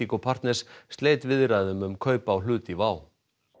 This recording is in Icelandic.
Indigo partners sleit viðræðum um kaup á hlut í WOW